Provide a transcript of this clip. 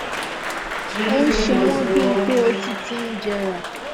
ó ń ṣe wọn bí i pé ó ti ti ń jẹrà